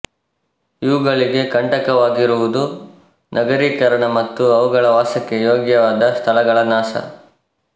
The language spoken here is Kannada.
ಇವುಗಳಿಗೆ ಕಂಟಕವಾಗಿರುವುದು ನಗರೀಕರಣ ಮತ್ತು ಅವುಗಳ ವಾಸಕ್ಕೆ ಯೋಗ್ಯವಾದ ಸ್ಥಳಗಳ ನಾಶ